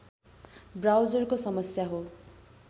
ब्राउजरको समस्या हो